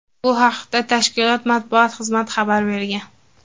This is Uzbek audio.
Bu haqda tashkilot matbuot xizmati xabar bergan.